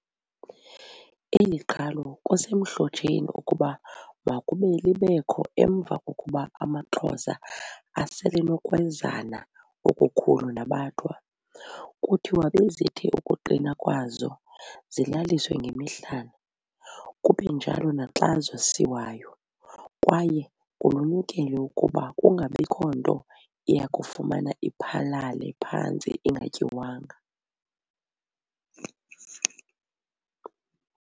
Eli qhalo kusemhlotsheni ukuba makube libekho emva kokuba amaXhosa aselenokwezana okukhulu nabaThwa. Kuthiwa bezithi ukuqinwa kwazo zilaliswe ngemihlana, kubenjalo naxa zosiwayo, kwaye kulunyukelwe ukuba kungabikho nto iyakufumane iphalale phantsi ingatyiwanga.